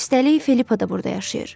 Üstəlik Filippa da burda yaşayır.